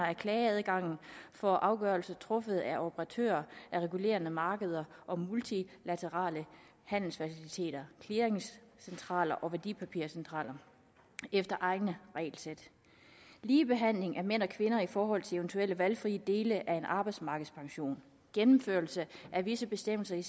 af klageadgangen for afgørelser truffet af operatører af regulerede markeder og multilaterale handelsfaciliteter clearingcentraler og værdipapircentraler efter egne regelsæt ligebehandling af mænd og kvinder i forhold til eventuelle valgfrie dele af en arbejdsmarkedspension gennemførelse af visse bestemmelser i